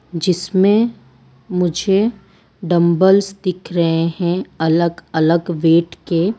जिसमें मुझे डम्बल्स दिख रहे हैं अलग अलग वेट के।